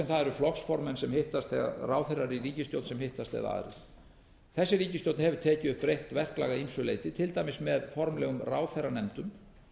eru flokksformenn sem hittast eða ráðherrar í ríkisstjórn sem hittast eða aðrir þessi ríkisstjórn hefur tekið upp breytt verklag að ýmsu leyti til dæmis með formlegum ráðherranefndum